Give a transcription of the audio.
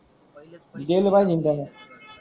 पहिलेच पैसे देले पाहिजे त्यान